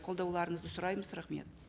қолдауларыңызды сұраймыз рахмет